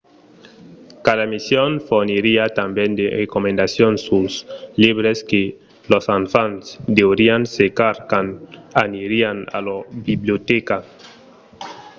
cada emission forniriá tanben de recomandacions suls libres que los enfants deurián cercar quand anirián a lor bibliotèca